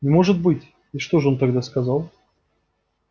может быть и что же он тогда сказал